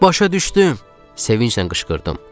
Başa düşdüm, sevincnən qışqırdım.